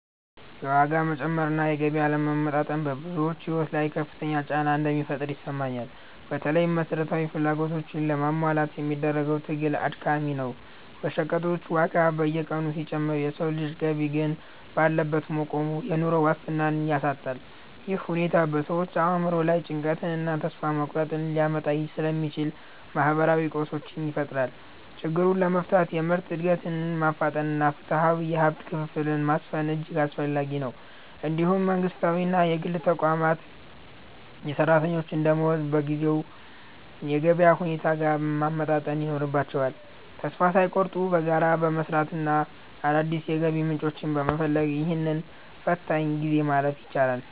የዋጋ መጨመር እና የገቢ አለመመጣጠን በብዙዎች ሕይወት ላይ ከፍተኛ ጫና እንደሚፈጥር ይሰማኛል። በተለይም መሠረታዊ ፍላጎቶችን ለማሟላት የሚደረገው ትግል አድካሚ ነው። የሸቀጦች ዋጋ በየቀኑ ሲጨምር የሰው ልጅ ገቢ ግን ባለበት መቆሙ፣ የኑሮ ዋስትናን ያሳጣል። ይህ ሁኔታ በሰዎች አእምሮ ላይ ጭንቀትንና ተስፋ መቁረጥን ሊያመጣ ስለሚችል፣ ማኅበራዊ ቀውሶችን ይፈጥራል። ችግሩን ለመፍታት የምርት ዕድገትን ማፋጠንና ፍትሐዊ የሀብት ክፍፍልን ማስፈን እጅግ አስፈላጊ ነው። እንዲሁም መንግሥታዊና የግል ተቋማት የሠራተኛውን ደመወዝ በጊዜው የገበያ ሁኔታ ጋር ማመጣጠን ይኖርባቸዋል። ተስፋ ሳይቆርጡ በጋራ በመሥራትና አዳዲስ የገቢ ምንጮችን በመፈለግ፣ ይህንን ፈታኝ ጊዜ ማለፍ ይቻላል።